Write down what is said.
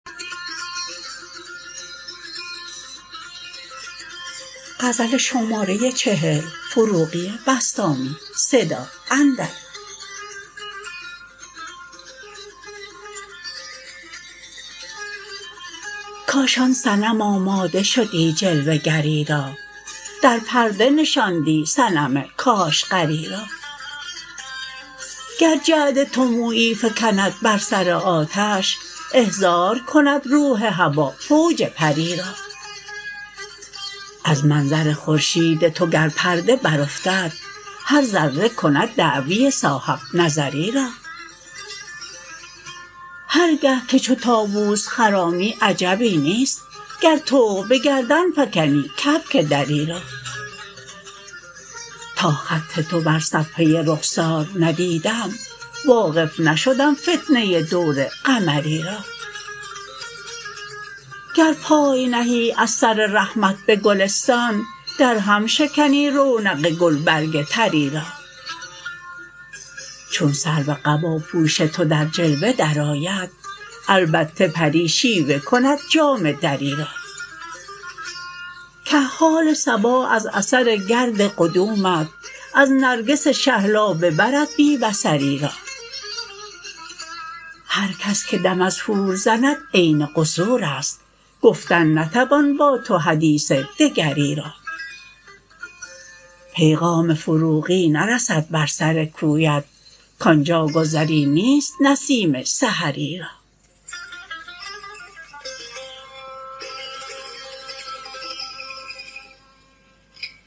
کاش آن صنم آماده شدی جلوه گری را در پرده نشاندی صنم کاشغری را گر جعد تو مویی فکند بر سر آتش احضار کند روح هوا فوج پری را از منظر خورشید تو گر پرده برافتد هر ذره کند دعوی صاحب نظری را هر گه که چو طاوس خرامی عجبی نیست گر طوق به گردن فکنی کبک دری را تا خط تو بر صفحه رخسار ندیدم واقف نشدم فتنه دور قمری را گر پای نهی از سر رحمت به گلستان درهم شکنی رونق گل برگ طری را چون سرو قباپوش تو در جلوه درآید البته پری شیوه کند جامه دری را کحال صبا از اثر گرد قدومت از نرگس شهلا ببرد بی بصری را هر کس که دم از حور زند عین قصور است گفتن نتوان با تو حدیث دگری را پیغام فروغی نرسد بر سر کویت که آنجا گذری نیست نسیم سحری را